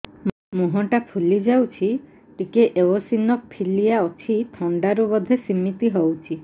ମୁହଁ ଟା ଫୁଲି ଯାଉଛି ଟିକେ ଏଓସିନୋଫିଲିଆ ଅଛି ଥଣ୍ଡା ରୁ ବଧେ ସିମିତି ହଉଚି